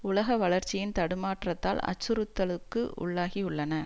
உலக வளர்ச்சியின் தடுமாற்றத்தால் அச்சுறுத்தலுக்கு உள்ளாகியுள்ளன